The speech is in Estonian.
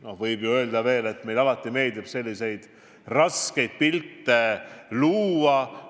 No võib ju öelda, et eks meile alati meeldib selliseid tumedaid pilte maalida.